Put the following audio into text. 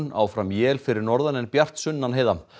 áfram él fyrir norðan en bjart sunnan heiða